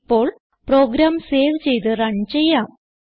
ഇപ്പോൾ program save ചെയ്ത് run ചെയ്യാം